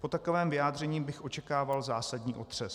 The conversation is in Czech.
Po takovém vyjádření bych očekával zásadní otřes.